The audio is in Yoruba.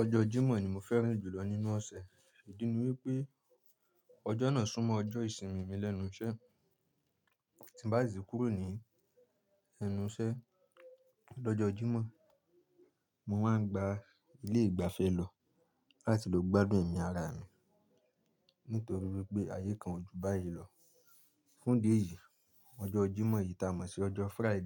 Ọjọ́ Jímọ̀ ni mo fẹ́ràn jùlọ nínú ọ̀sẹ̀. Ìdí ni wípé ọjọ́ náà súnmọ́ ọjọ́ ìsinmi mi lẹ́nu iṣẹ́. Tí mo bá si ti kúrò ní ẹnu iṣẹ́ lọ́jọ́ Jímọ̀, mo máa ń gba ilé ìgbafẹ́ lọ láti lọ gbádùn ẹ̀mí ara mi nítorí wípé ayé kan o ju báyìí lọ. Fún idi eyìí, ọjọ́ Jímọ̀ yìí ta mọ̀ sí ọjọ́ Friday